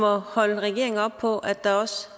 og holde regeringen op på at der